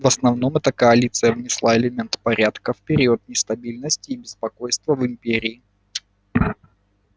в основном эта коалиция внесла элемент порядка в период нестабильности и беспокойства в империи